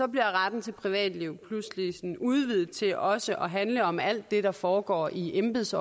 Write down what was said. bliver retten til privatliv pludselig udvidet til også at handle om alt det der foregår i embeds